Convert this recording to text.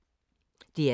DR2